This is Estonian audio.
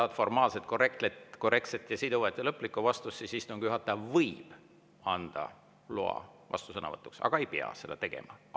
Kui sa tahad formaalset, korrektset, siduvat ja lõplikku vastust, siis ütlen, et istungi juhataja võib anda loa vastusõnavõtuks, aga ei pea seda tegema.